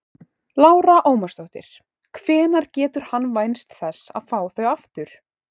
Lára Ómarsdóttir: Hvenær getur hann vænst þess að fá þau aftur?